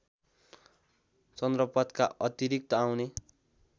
चन्द्रपथका अतिरिक्त आउने